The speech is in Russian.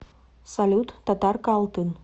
салют татарка алтын